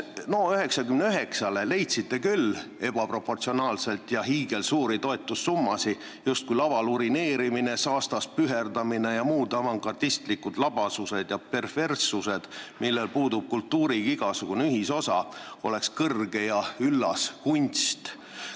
NO99-le leidsite lausa ebaproportsionaalseid, hiigelsuuri toetussummasid, justkui oleks laval urineerimine, saastas püherdamine ja muud avangardistlikud labasused ja perverssused, millel puudub kultuuriga igasugune ühisosa, kõrge ja üllas kunst.